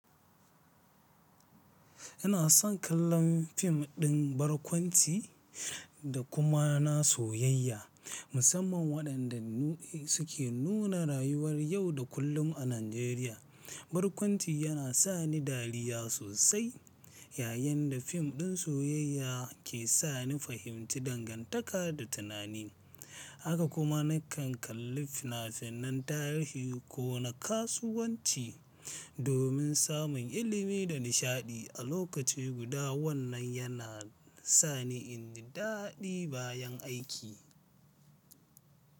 Ina son kallon fim ɗin barkwanci da kuma na soyayya musamman waɗanda suke nuna rayuwar yau da kullum a Najeriya. Barkwanci yana sa ni dariya sosai yayin da fim ɗin soyayya ke sa ni fahimci dangantaka da tunani. Haka kuma nakan kalli fina-finan tarihi ko na kasuwanci domin samun ilimi da nishaɗi a lokaci guda. Wannan yana sa ni in ji daɗi bayan aiki.